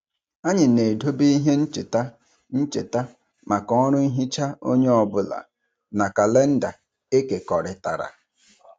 Anyị na-edobe ihe ncheta ncheta maka ọrụ nhicha onye ọ bụla na kalenda ekekọrịtara.